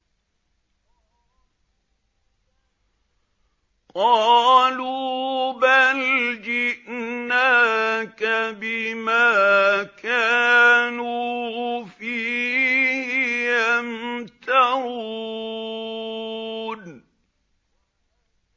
قَالُوا بَلْ جِئْنَاكَ بِمَا كَانُوا فِيهِ يَمْتَرُونَ